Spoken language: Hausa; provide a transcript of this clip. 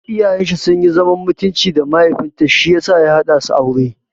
Iyayen shi sunyi zaman mutunci da mahaifin ta shiyasa ya haɗa su aure.